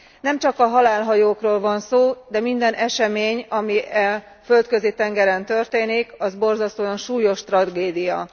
Nemcsak a halálhajókról van szó, de minden esemény, ami a Földközi tengeren történik, az borzasztóan súlyos tragédia.